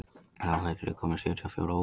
Ráðhildur, ég kom með sjötíu og fjórar húfur!